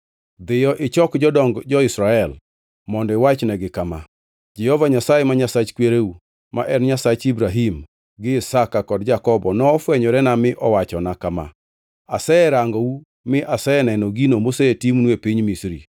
“Dhiyo, ichok jodong jo-Israel mondo iwachnegi kama. ‘Jehova Nyasaye, ma Nyasach kwereu; ma en Nyasach Ibrahim gi Isaka kod Jakobo; nofwenyorena mi owachona kama: Aserangou mi aseneno gino mosetimnu e piny Misri.